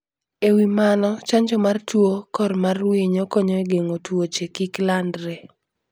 E wi mano, chanjo mar tuo kor mar winy konyo e geng'o tuoche kik landre.